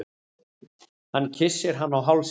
Hann kyssir hana á hálsinn.